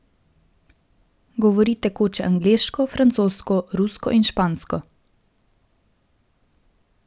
Govori tekoče angleško, francosko, rusko in špansko.